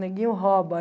Neguinho rouba.